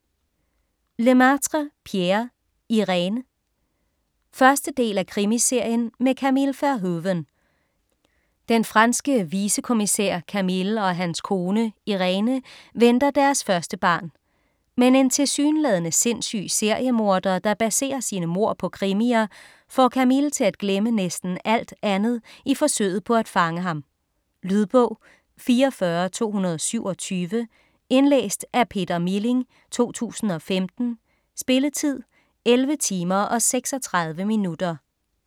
Lemaitre, Pierre: Irène 1. del af Krimiserien med Camille Verhoeven. Den franske vicekommissær Camille og hans kone, Iréne, venter deres første barn. Men en tilsyneladende sindssyg seriemorder, der baserer sine mord på krimier, får Camille til at glemme næsten alt andet i forsøget på at fange ham. Lydbog 44227 Indlæst af Peter Milling, 2015. Spilletid: 11 timer, 36 minutter.